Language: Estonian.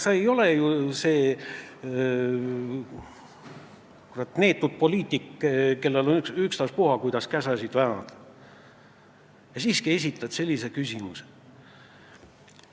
Sa ei ole ju selline neetud poliitik, kellel on ükstaspuha, kuidas käsi väänata, ja siiski sa esitad sellise küsimuse.